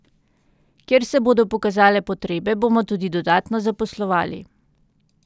Kjer se bodo pokazale potrebe, bomo tudi dodatno zaposlovali.